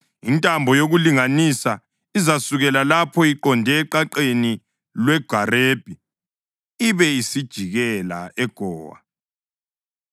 Intambo yokulinganisa izasukela lapho iqonde eqaqeni lweGarebi ibe isijikela eGowa.